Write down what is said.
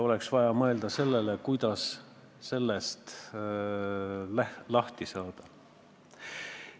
Oleks vaja mõelda sellele, kuidas sellest lahti saada.